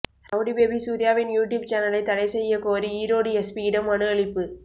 rowdy baby சூர்யாவின் YouTube சேனலை தடை செய்ய கோரி ஈரோடு எஸ்பியிடம் மனு அளிப்பு